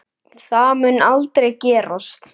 Það mun aldrei gerast.